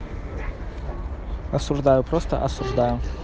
осуждаю просто осуждаю